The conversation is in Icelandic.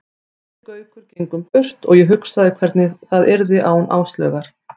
Við Gaukur gengum burt og ég hugsaði hvernig það yrði án Áslaugar.